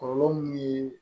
Kɔlɔlɔ mun ye